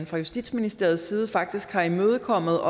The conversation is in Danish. fra justitsministeriets side faktisk har imødekommet